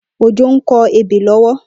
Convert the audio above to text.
Ojo n kọ ébé lọwọ